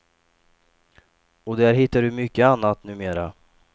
Och där hittar du mycket annat numera.